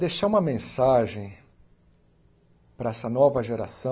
Deixar uma mensagem para essa nova geração